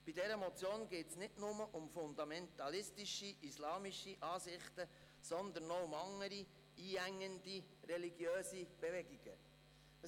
Bei dieser Motion geht es nicht nur um fundamentalistische islamische Ansichten, sondern auch um andere, einengende religiöse Bewegungen.